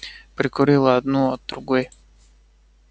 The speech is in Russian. прикурила одну от другой